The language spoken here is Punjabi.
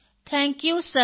thank you sir